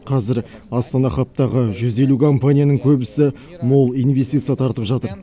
қазір астана хабтағы жүз елу компанияның көбісі мол инвестиция тартып жатыр